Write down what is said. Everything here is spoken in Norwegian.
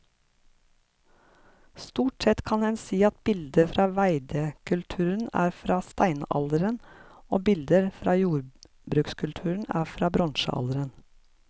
Stort sett kan en si at bilder fra veidekulturen er fra steinalderen og bilder fra jordbrukskulturen er fra bronsealderen.